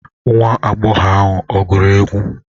Nwa agbọghọ ahụ ọ gụrụ egwu?